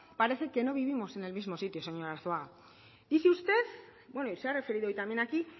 parece que no vivimos en el mismo sitio señor arzuaga dice usted bueno y se ha referido hoy también aquí